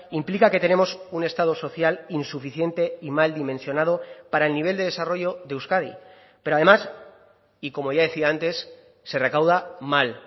implica que tenemos un estado social insuficiente y mal dimensionado para el nivel de desarrollo de euskadi pero además y como ya decía antes se recauda mal